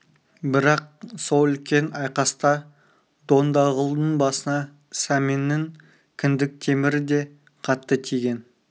бірақ сол үлкен айқаста дондағұлдың басына сәменнің кіндік темірі де қатты тиген